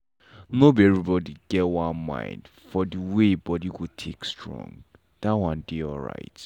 nor be everybody get one mind for d way body go take strong - that one dey alright.